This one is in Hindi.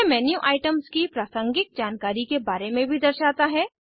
यह मेन्यू आइटम्स की प्रासंगिक जानकारी के बारे में भी दर्शाता है